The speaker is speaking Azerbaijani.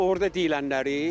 Orda deyilənləri.